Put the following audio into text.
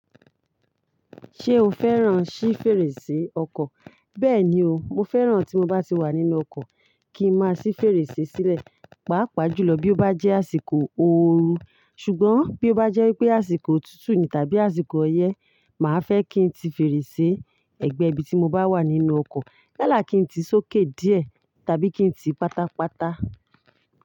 Ṣé o fẹ́ràn sí fèrèsé ọkọ̀? Bẹ́ẹ̀ni o, mo fẹ́ràn tí mo bá ti wà nínú ọkọ̀ kí n má sì fèrèsé sílẹ̀, pàápàá jùlọ bí ó bá jẹ́ àsìkò òòru, ṣùgbọ́n bí ó bá jẹ́ pé àsìkò òtútù ni tàbí àsìkò ọyẹ́, màá fẹ́ kí n tí fèrèsé ẹ̀gbẹ́ ibi tí mo bá wà nínú ọkọ̀, yálà kí n tí sókè díẹ̀ tàbí kí n tí pátápátá.